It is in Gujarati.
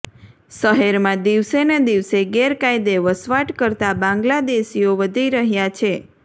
શહેરમાં દિવસેને દિવસે ગેરકાયદે વસવાટ કરતા બાંગ્લાદેશીઓ વધી રહ્યાં છે